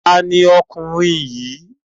Ta ni ọkùnrin yìí?